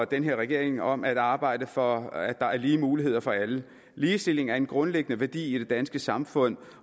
den her regering om at arbejde for at der er lige muligheder for alle ligestilling er en grundlæggende værdi i det danske samfund